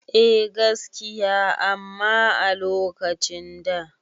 Eh gaskiya amma a lokacin da